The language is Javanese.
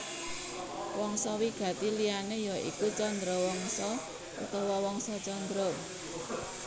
Wangsa wigati liyané ya iku Chandrawangsa utawa Wangsa Candra